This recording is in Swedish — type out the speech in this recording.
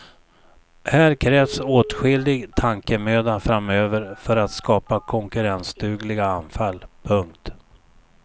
Här krävs åtskillig tankemöda framöver för att skapa konkurrensdugliga anfall. punkt